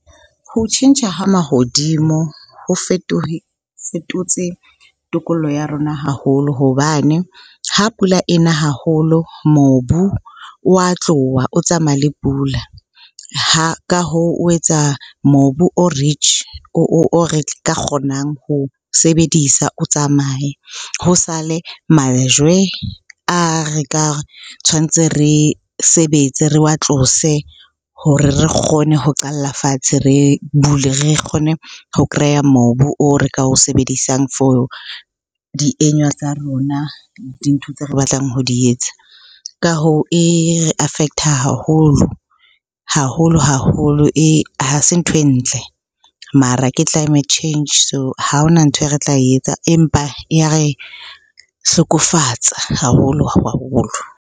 Ho tjhentjha ha mahodimo, ho fetotse tokollo ya rona haholo hobane ha pula ena haholo mobu o wa tloha o tsamaya le pula. Ka hoo o etsa mobu o rich, o re ka kgonang ho sebedisa, o tsamaye. Ho sale majwe a re ka tshwantse re sebetse, re wa tlose hore re kgone ho qalla fatshe re bule. Re kgone ho kreya mobu o re ka o sebedisang for tsa rona, dintho tse re batlang ho di etsa. Ka hoo, e affect-a haholo, haholo-haholo. Ha se ntho e ntle mara ke climate change, so ha hona nthwe re tla etsa empa e ya re hlokofatsa haholo-haholo.